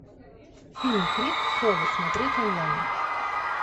фильм крик совы смотреть онлайн